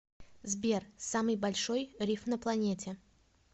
сбер самый большой риф на планете